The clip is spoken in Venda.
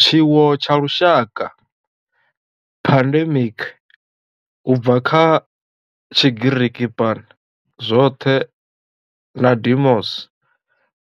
Tshiwo tsha lushaka, pandemic, u bva kha Tshigiriki pan, zwothe na demos,